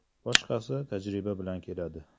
Boshqasi tajriba bilan keladi.